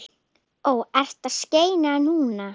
Ó: Ertu að skeina núna?